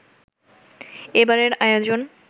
এবারের আয়োজন